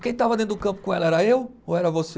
Quem estava dentro do campo com ela era eu ou era você?